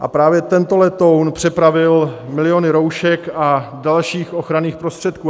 A právě tento letoun přepravil miliony roušek a dalších ochranných prostředků.